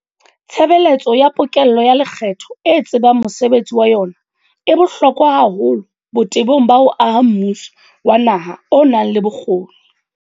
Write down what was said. Tshebeletso ya pokello ya lekgetho e tsebang mosebetsi wa yona e bohlokwa haholo botebong ba ho aha mmuso wa naha o nang le bokgoni.